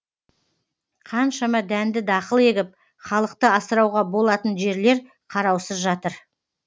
қаншама дәнді дақыл егіп халықты асырауға болатын жерлер қараусыз жатыр